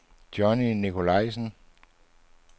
Johnny Nicolajsen